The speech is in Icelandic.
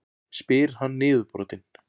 spyr hann niðurbrotinn.